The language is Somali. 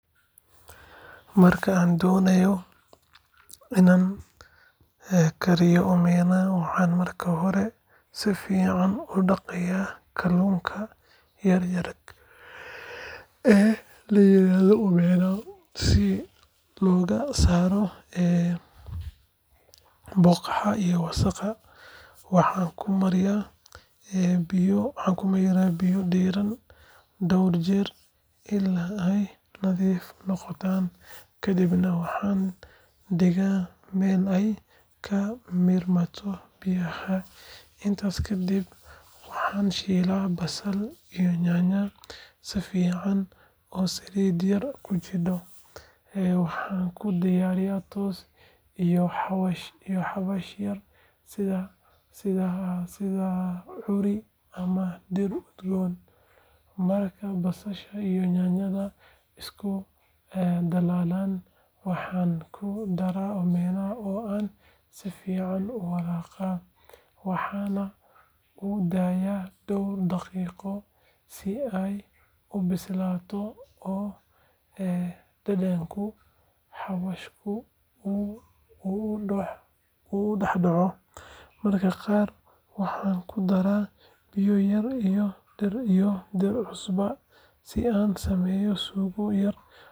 Markaan doonayo in aan kariyo Omena, waxaan marka hore si fiican u dhaqaa kalluunka yar yar ee la yiraahdo Omena si looga saaro boodhka iyo wasakhda. Waxaan ku mayraa biyo diirran dhowr jeer ilaa ay nadiif noqdaan, kadibna waxaan dhigaa meel ay ka miirmato biyaha. Intaa ka dib waxaan shiilaa basal iyo yaanyo si fiican oo saliid yar ku jirto, waxaan ku darayaa toon iyo xawaash yar sida curry ama dhir udgoon. Marka basasha iyo yaanyada isku dhalaalaan, waxaan ku daraa Omena oo aan si fiican u walaaqaa, waxaanan u daayaa dhowr daqiiqo si ay u bislaato oo dhadhanka xawaashku ugu dhex dhaco. Mararka qaar waxaan ku daraa biyo yar iyo dhir cusub si aan u sameeyo suugo yar oo macaan.